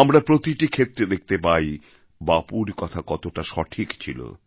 আমরা প্রতিটি ক্ষেত্রে দেখতে পাই বাপুর কথা কতটা সঠিক ছিল